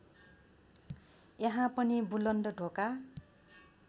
यहाँ पनि बुलन्द ढोका